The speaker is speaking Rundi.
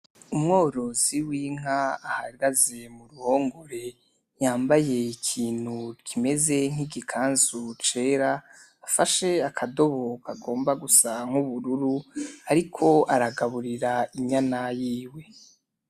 Wumworozi w’inka ahagaze muruhongore yambaye ikintu kimeze nkigikanzu cera afashe akadobo kagomba Gusa N’ubururu ariko aragaburira inyana yiwe .